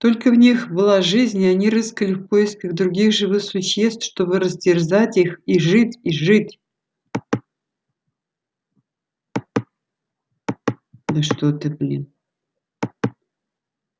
только в них была жизнь и они рыскали в поисках других живых существ чтобы растерзать их и жить и жить